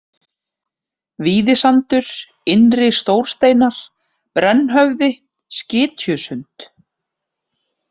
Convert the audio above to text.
Víðisandur, Innri-Stórsteinar, Brennhöfði, Skytjusund